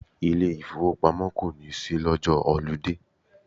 Ilé ìfowópamọ́ kò ní ṣí lọ́jọ́ họludé.